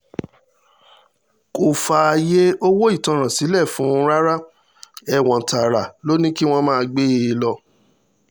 kò fààyè owó ìtanràn sílẹ̀ fún un rárá ẹ̀wọ̀n tààrà ló ní kí wọ́n máa gbé e lọ